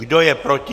Kdo je proti?